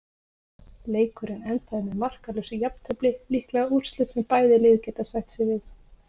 Leikurinn endaði með markalausu jafntefli, líklega úrslit sem bæði lið geta sætt sig við.